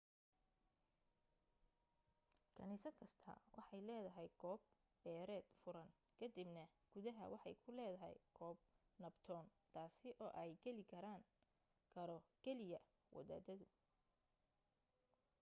kanisad kasta waxay leedahay goob beereed furan kadibna gudaha waxay ku ledahay goob nabdoon taasi oo ay galikaraan karo kaliya wadaadadu